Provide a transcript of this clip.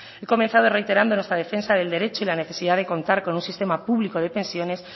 he comenzado reiterando nuestra defensa del derecho y la necesidad de contar con un sistema público de pensiones